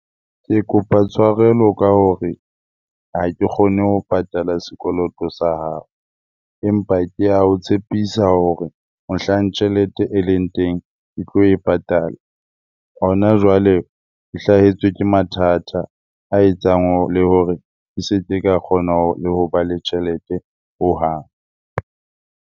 Ke kopa tshwarelo ka hore ha ke kgone ho patala sekoloto sa hao empa ke a o tshepisa hore mohlang tjhelete e leng teng, ke tlo e patala. Hona jwale ke hlahetswe ke mathata a etsang le hore ke se ke ka kgona hoba le tjhelete hohang.